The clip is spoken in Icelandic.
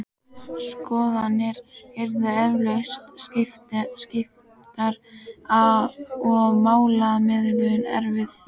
Skoðanir yrðu eflaust skiptar og málamiðlun erfið.